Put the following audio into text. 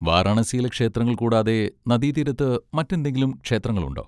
വാരണാസിയിലെ ക്ഷേത്രങ്ങൾ കൂടാതെ നദീതീരത്ത് മറ്റെന്തെങ്കിലും ക്ഷേത്രങ്ങളുണ്ടോ?